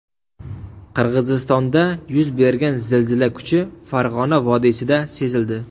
Qirg‘izistonda yuz bergan zilzila kuchi Farg‘ona vodiysida sezildi.